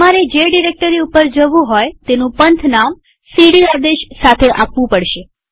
તમારે જે ડિરેક્ટરી ઉપર જવું હોય તેનું પંથનામ સીડી આદેશ સાથે આપવું પડશે